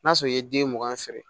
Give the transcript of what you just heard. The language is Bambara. N'a sɔrɔ i ye den mugan feere